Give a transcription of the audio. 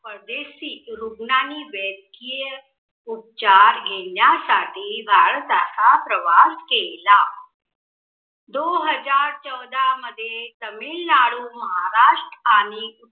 परदेसी रुग्णांनी वेद्यकीय उपचार घेण्यासाठी भारताचा प्रवास केला. दो हजार चौदा मधे तमिळनाडू, महाराष्ट्र आणि